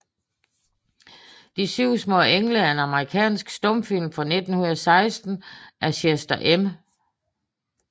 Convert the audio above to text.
De syv smaa Engle er en amerikansk stumfilm fra 1916 af Chester M